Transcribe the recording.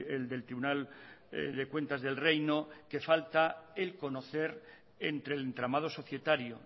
el del tribunal de cuentas del reino que falta el conocer entre el entramado societario